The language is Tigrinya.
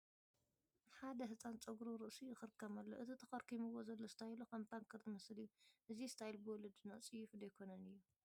ሓደ ህፃን ጨጉሪ ርእሱ ይኽርከም ኣሎ፡፡ እቲ ተኸርኪምዎ ዘሎ ስታይሉ ከም ፓንከር ዝመስል እዩ፡፡ እዚ ስታይል ብወለድና ፅዩፍ ዶ ኣይኮነን እዩ?